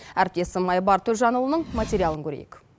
әріптесім айбар төлжанұлының материалын көрейік